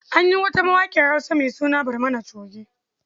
An yi wata mawaƙiyar Hausa mai suna Barmani Coge..